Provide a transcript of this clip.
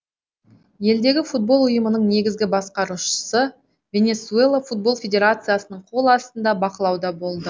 елдегі футбол ұйымының негізгі басқарушысы венесуэла футбол федерациясының қол астында бақылауда болады